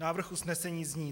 Návrh usnesení zní: